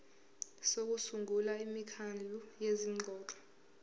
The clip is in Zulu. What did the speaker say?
sokusungula imikhandlu yezingxoxo